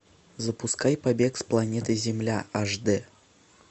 запускай побег с планеты земля аш дэ